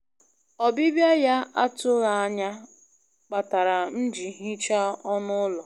Ọbịbịa ya na-atụghị anya kpatara m ji hichaa ọnụ ụlọ.